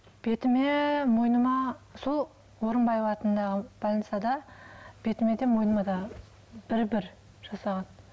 бетіме мойныма сол орынбаев атындағы больницада бетіме де мойныма да бір бір жасаған